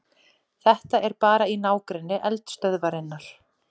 Þetta er bara í nágrenni eldstöðvarinnar